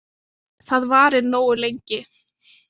Það varir nógu lengi.